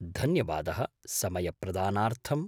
धन्यवादः समयप्रदानार्थम्।